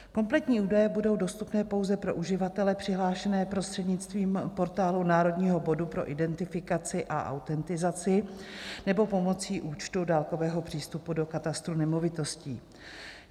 Kompletní údaje budou dostupné pouze pro uživatele přihlášené prostřednictvím Portálu národního bodu pro identifikaci a autentizaci nebo pomocí účtu dálkového přístupu do Katastru nemovitostí.